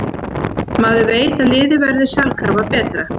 Maður veit að liðið verður sjálfkrafa betra.